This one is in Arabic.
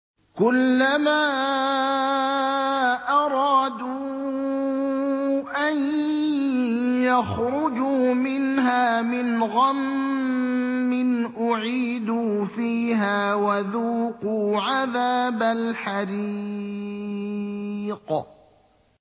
كُلَّمَا أَرَادُوا أَن يَخْرُجُوا مِنْهَا مِنْ غَمٍّ أُعِيدُوا فِيهَا وَذُوقُوا عَذَابَ الْحَرِيقِ